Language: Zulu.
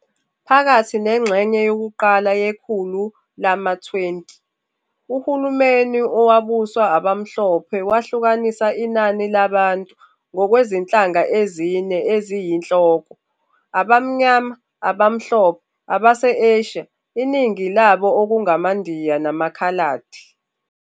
Phakathi nengxenye yokuqala yekhulu lama-20, uhulumeni owawubuswa abamhlophe wahlukanisa inani labantu ngokwezinhlanga ezine eziyinhloko - Abamnyama, Abamhlophe, abase-Asia, iningi labo okungamaNdiya, namaKhaladi.